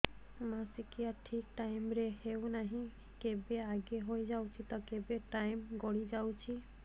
ମାସିକିଆ ଠିକ ଟାଇମ ରେ ହେଉନାହଁ କେବେ ଆଗେ ହେଇଯାଉଛି ତ କେବେ ଟାଇମ ଗଡି ଯାଉଛି